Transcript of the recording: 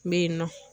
N bɛ yen nɔ